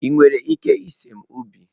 Ị nwere ike ịse m ubi?